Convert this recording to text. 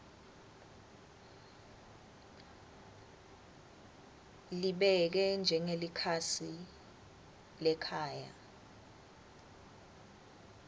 libeke njengelikhasi lekhaya